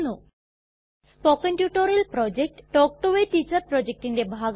spoken tutorial project talk to a teacher പ്രൊജക്റ്റിന്റെ ഭാഗമാണ്